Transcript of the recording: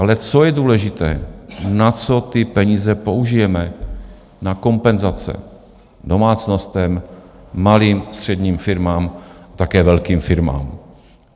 Ale co je důležité - na co ty peníze použijeme: na kompenzace domácnostem, malým, středním firmám, také velkým firmám.